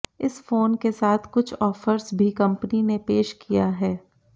इस फोन के साथ कुछ ऑफर्स भी कंपनी ने पेश किया है